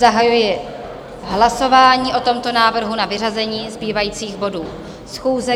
Zahajuji hlasování o tomto návrhu na vyřazení zbývajících bodů schůze.